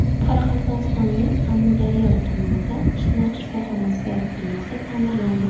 Qoraqalpog‘istonning Amudaryo tumanida qishloq shifoxonasi binosi ta’mirlandi.